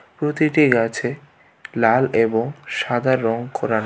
প্রতিটি গাছে লাল এবং সাদা রং করানো.